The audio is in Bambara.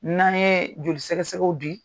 N'an ni ye joli sɛgɛsɛgɛ di,